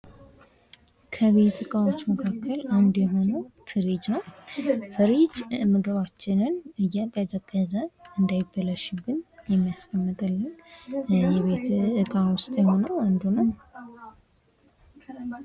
ከቤት እቃዋች መካከል አንዱ የሆነው ፍርጅ ነው ::ፍሪጅ ምግባችንን እያቀዘቀዘ እንዳይበላሽብን የሚያስቀምጥልን የቤት እቃ ውስጥ የሆነ አንዱ ነው ::